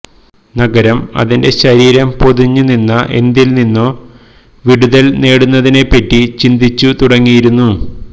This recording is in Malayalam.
നഗരം അതിന്റെ ശരീരം പൊതിഞ്ഞു നിന്ന എന്തില് നിന്നോ വിടുതല് നേടുന്നതിനെപറ്റി ചിന്തിച്ചു തുടങ്ങിയിരുന്നു